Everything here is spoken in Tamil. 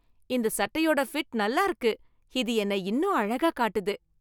இந்த சட்டையோட ஃபிட் நல்லா இருக்கு. இது என்னை இன்னும் அழகா காட்டுது.